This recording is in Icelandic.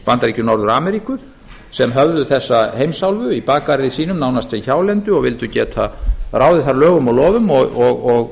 bandaríkjum norður ameríku sem höfðu þessa heimsálfu í bakgarði sínum nánast sem hjálendu og vildu geta ráðið þar lögum og